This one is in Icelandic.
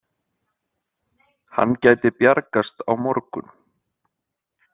Hann gæti bjargast á morgun.